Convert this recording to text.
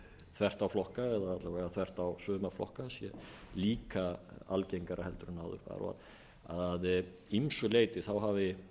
þvert á suma flokka sé líka algengara heldur en áður að ýmsu leyti hafi